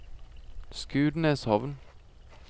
Skudeneshavn